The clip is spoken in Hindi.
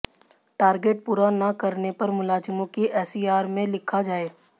टारगेट पूरा न करने पर मुलाजिमों की एसीआर में लिखा जाए